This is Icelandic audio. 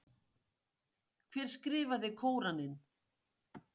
Hver skrifaði Kóraninn?